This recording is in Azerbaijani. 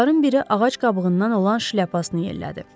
Onların biri ağac qabığından olan şlyapasını yellədi.